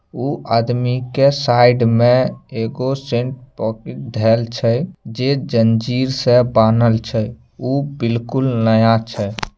उ आदमी के साइड में एक अ सेन पोकीट धेल छै जे जंजीर से बानहल छै उ बिलकुल नया छै।